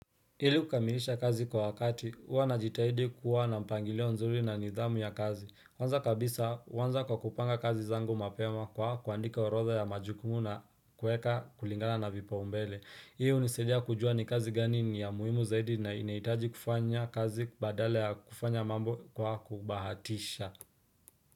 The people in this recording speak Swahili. Ili kukamilisha kazi kwa wakati, huwa najitahidi kuwa na mpangilio nzuri na nidhamu ya kazi. Kwanza kabisa, huanza kwa kupanga kazi zangu mapema kwa kuandika orodha ya majukumu na kueka kulingala na vipaumbele. Hii hunisaidia kujua ni kazi gani ni ya muhimu zaidi na inahitaji kufanya kazi badala ya kufanya mambo kwa kubahatisha.